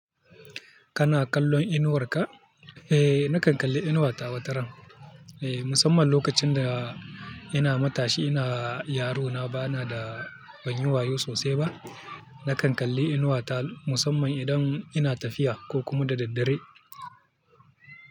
Kana kallon inuwarka? Eh, nakan kalli inuwar tawa wataran. Eh, musamman lokacin da ina matashi, ina yarona bana da ban yi wayo sosai ba. Nakan kalli inuwa ta musamman idan ina tafiya ko kuma da daddare.